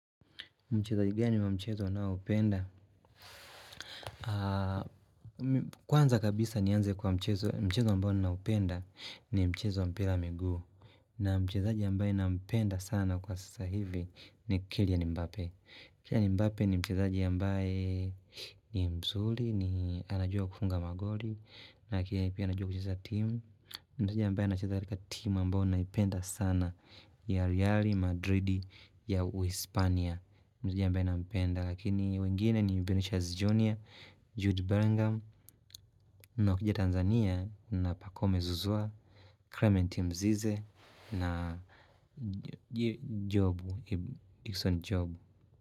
Mchezaji gani wa mchezo inaoupenda? Kwanza kabisa nianze kwa mchezo ambao ninaupenda ni mchezo mpira wamigu. Na mchezaji ambaye nampenda sana kwa sasa hivi ni Kilya Nimbape. Kilya Nimbape ni mchezaji ambaye ni mzuli, ni anajua kufunga magoli. Na kia ipia anajua kuchesa timu. Mchezaji ambaye anachezarika timu ambao naipenda sana ya Real Madrid ya Uispania. Mzija ambae nampenda lakini wengine ni Mubinusha Zijonia, Jude Berengam, na ukija Tanzania na Pakome Zuzua, Klementi Mzize na Jobu, Ikson Jobu.